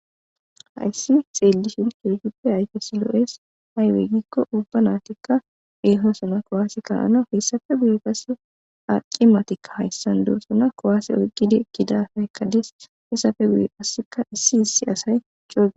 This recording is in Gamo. hayssi xeellishin kehuppe ayke si lo7es aywey gikko ubba naatikka eehosana kowaase ka7ana hessafe guye passe aqi matikka hayssan duossana kowaase oyqqide kida haykkades hessafe guye passeka issi issi asay cogae